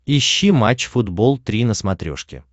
ищи матч футбол три на смотрешке